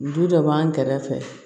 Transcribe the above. Du dɔ b'an kɛrɛfɛ